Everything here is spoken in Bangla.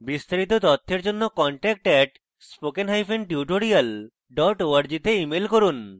বিস্তারিত তথ্যের জন্য contact @spokentutorial org তে ইমেল করুন